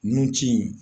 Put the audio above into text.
Nun ci